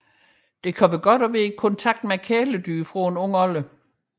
Det kan være godt at være i kontakt med kæledyr fra en ung alder